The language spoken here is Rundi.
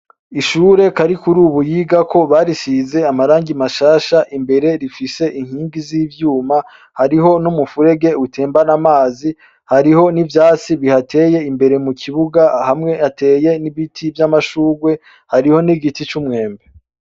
Ishure Karikurubu yigako barisize amarangi mashasha, imbere rifise inkingi z'ivyuma, hariho n'umufurege utembana amazi, hariho n'ivyatsi bihateye imbere mu kibuga, hamwe hateye n'ibiti vy'amashurwe, hariho n'igiti c'umwembe.